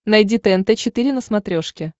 найди тнт четыре на смотрешке